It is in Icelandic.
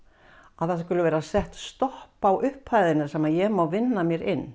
að það sé sett stopp á upphæðina sem ég má vinna mér inn